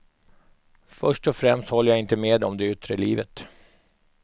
Först och främst håller jag inte med om det yttre livet.